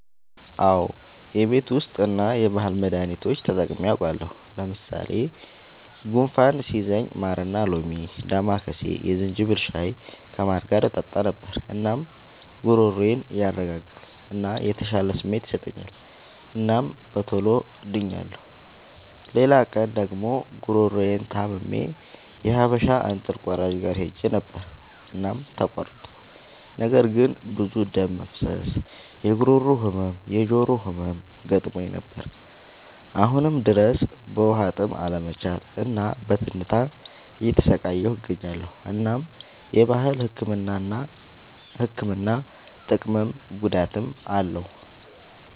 አዎ የቤት ዉስጥ እና የባህል መዳኒቶች ተጠቅሜ አዉቃለሁ። ለምሳሌ፦ ጉንፋን ሲይዘኝ ማርና ሎሚ፣ ዳማከሴ፣ የዝንጅብል ሻይ ከማር ጋር እጠጣ ነበር። እናም ጉሮሮዬን ያረጋጋል እና የተሻለ ስሜት ይሰጠኛል እናም በቶሎ ድኛለሁ። ሌላ ቀን ደግሞ ጉሮሮየን ታምሜ የሀበሻ እንጥል ቆራጭ ጋር ሄጀ ነበር እናም ተቆረጥኩ። ነገር ግን ብዙ ደም መፍሰስ፣ የጉሮሮ ህመም፣ የጆሮ ህመም ገጥሞኝ ነበር። አሁንም ድረስ በዉሀጥም አለመቻል እና በትንታ እየተሰቃየሁ እገኛለሁ። እናም የባህል ህክምና ጥቅምም ጉዳትም አለዉ።